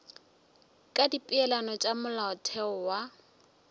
ka dipeelano tša molaotheo wa